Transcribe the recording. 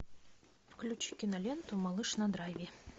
включи киноленту малыш на драйве